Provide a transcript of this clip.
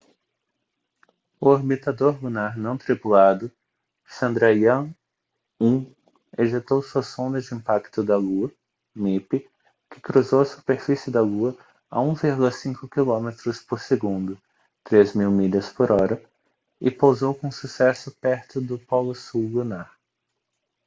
o orbitador lunar não tripulado chandrayaan-1 ejetou sua sonda de impacto da lua mip que cruzou a superfície da lua a 1,5 km por segundo 3 mil milhas por hora e pousou com sucesso perto do polo sul lunar